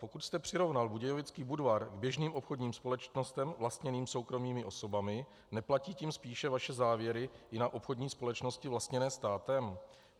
Pokud jste přirovnal Budějovický Budvar k běžným obchodním společnostem vlastněným soukromými osobami, neplatí tím spíše vaše závěry i na obchodní společnosti vlastněné státem?